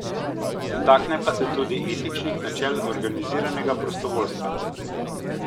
Dotakne pa se tudi etičnih načel organiziranega prostovoljstva.